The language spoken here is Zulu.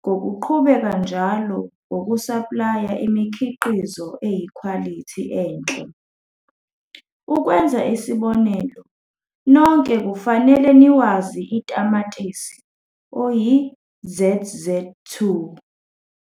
ngokuqhubeka njalo ngokusaplaya imikhiqizo eyikhwalithi enhle. Ukwenza isibonelo nonke kufanele niwazi itamatisi oyi-ZZ2.